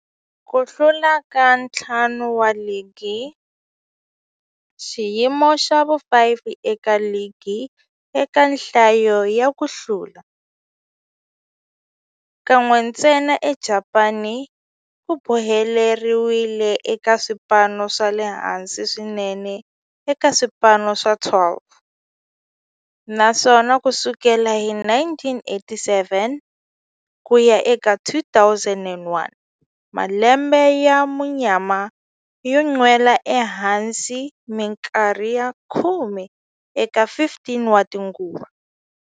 Ku hlula ka ntlhanu wa ligi, xiyimo xa vu-5 eka ligi eka nhlayo ya ku hlula, kan'we ntsena eJapani, ku boheleriwile eka swipano swa le hansi swinene eka swipano swa 12, naswona ku sukela hi 1987 ku ya eka 2001, malembe ya munyama yo nwela ehansi minkarhi ya khume eka 15 tinguva.